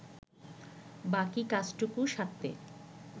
বাকি কাজটুকু সারতে